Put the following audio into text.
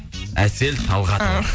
әсел талғатовна